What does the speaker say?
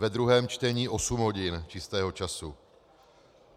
Ve druhém čtení osm hodin čistého času.